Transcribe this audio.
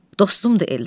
Dostumdur Eldar.